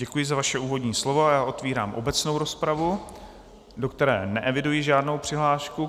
Děkuji za vaše úvodní slovo a otvírám obecnou rozpravu, do které neeviduji žádnou přihlášku.